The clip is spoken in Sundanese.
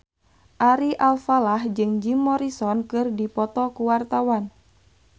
Ari Alfalah jeung Jim Morrison keur dipoto ku wartawan